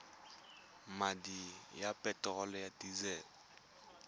madi a peterolo ya disele